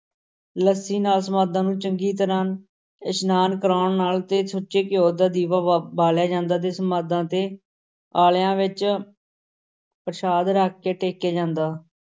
ਲੱਸੀ ਨਾਲ ਸਮਾਧਾਂ ਨੂੰ ਚੰਗੀ ਤਰ੍ਹਾਂ ਇਸ਼ਨਾਨ ਕਰਾਉਣ ਨਾਲ ਤੇ ਸੁੱਚੇ ਘਿਓ ਦਾ ਦੀਵਾ ਬਾ~ ਬਾਲਿਆ ਜਾਂਦਾ ਤੇ ਸਮਾਧਾਂ ਤੇ ਆਲਿਆਂ ਵਿੱਚ ਪ੍ਰਸ਼ਾਦ ਰੱਖ ਕੇ ਟੇਕਿਆ ਜਾਂਦਾ।